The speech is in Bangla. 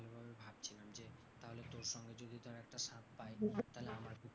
পাই তাহলে আমার পক্ষেও,